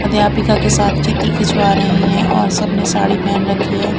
अध्यापिका के साथ चित्र खिंचवा रहे हैं और सब ने साड़ी पहन रखी है।